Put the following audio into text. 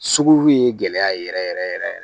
Sugu ye gɛlɛya yɛrɛ yɛrɛ yɛrɛ